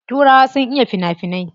Turawa sun iya fina finai.